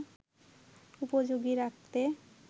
উপযোগী রাখতে